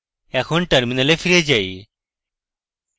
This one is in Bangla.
এখন terminal ফিরে যাই